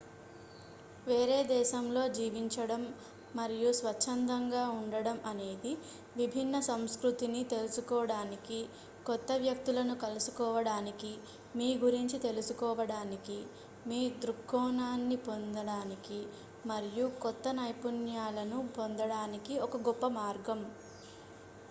వేరే దేశంలో జీవించడం మరియు స్వచ్చంధంగా ఉండటం అనేది విభిన్న సంస్కృతిని తెలుసుకోవడానికి కొత్త వ్యక్తులను కలుసుకోవడానికి మీ గురించి తెలుసుకోవడానికి మీ దృక్కోణాన్ని పొందడానికి మరియు కొత్త నైపుణ్యాలను పొందడానికి ఒక గొప్ప మార్గం